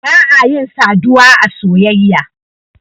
ba a yin saduwa a soyayya.